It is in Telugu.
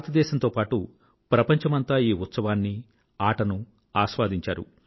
భారతదేశం తో పాటూ ప్రపంచమంతా ఈ ఉత్సవాన్నీ ఆటను ఆస్వాదించారు